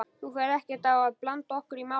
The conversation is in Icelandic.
Þú ferð ekkert að blanda okkur í málið?